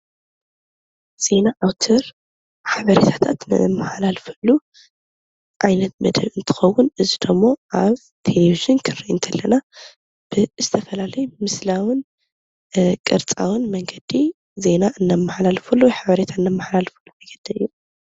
ዜና ኣውትር ዜና ዝማሓላለፈሉ ዓይነት መደብ እንትኸውን እዚ ደሞ ኣብ ቴሌብዥን ክንሪኢ እንከለና ዝተፈላለዩ ምስላውን ቅርፃውን መንገዲ ዜና እነማሓላልፈሉ ሓበሬታ እነማሓላልፈሉ ።